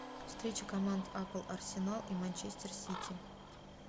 встреча команд апл арсенал и манчестер сити